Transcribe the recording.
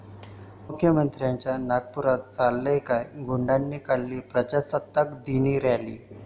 मुख्यमंत्र्यांच्या नागपुरात चाललंय काय?, गुंडाने काढली प्रजासत्ताक दिनी रॅली